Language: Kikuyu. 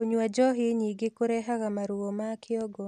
kũnyua njohi nyingĩ kurehaga maruo ma kĩongo